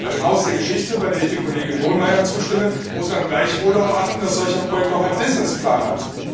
Bei dem Haus der Geschichte, bei dem ich Kollegin Hohlmeier zustimme, muss man gleichwohl darauf achten, dass solch ein Projekt auch einen Businessplan hat.